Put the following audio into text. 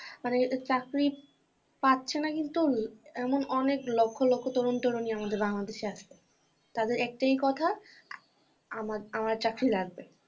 মানে চাকরি পাচ্ছেনা কিন্তু এমন অনেক লক্ষ লক্ষ তরুন তরুণী আমাদের বাংলাদেশে আছে। তাদের একটিই কথা আমার আমার চাকরি লাগবে।